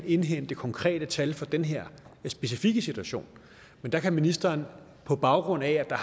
indhente konkrete tal for den her specifikke situation men der kan ministeren på baggrund af at der